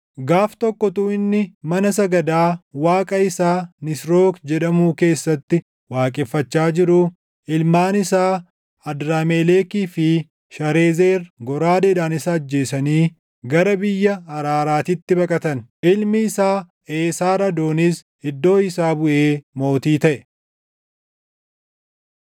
Gaaf tokko utuu inni mana sagadaa Waaqa isaa Nisrook jedhamuu keessatti waaqeffachaa jiruu ilmaan isaa Adramelekii fi Sharezer goraadeedhaan isa ajjeesanii gara biyya Araaraatitti baqatan. Ilmi isaa Eesarhadoonis iddoo isaa buʼee mootii taʼe.